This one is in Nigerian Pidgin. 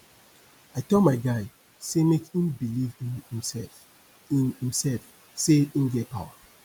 i tell my guy sey make im believe in imsef sey in imsef sey im get power